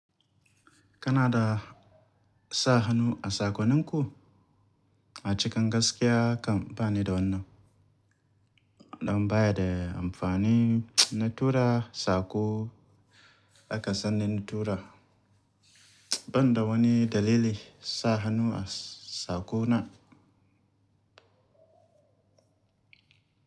Kana da sa hannu a sakoninku? A cikin gaskiya, kam bani da wannan. Dan baya da amfani na tura sako aka sani na tura. Ban da wani dalili, sa hannu a sako na.